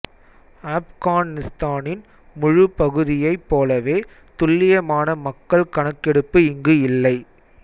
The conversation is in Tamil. ஆப்கானிஸ்தானின் முழு பகுதியைப் போலவே துல்லியமான மக்கள் கணக்கெடுப்பு இங்கு இல்லை